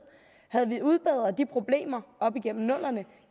havde vi udbedret de problemer op igennem nullerne